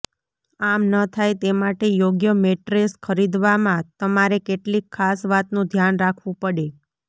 આમ ન થાય તે માટે યોગ્ય મેટ્રેસ ખરીદવામાં તમારે કેટલીક ખાસ વાતનું ધ્યાન રાખવુ પડે